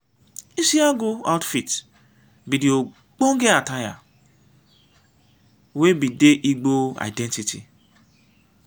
isiagu outfit be de ogbenge attire wey be de igbo identity.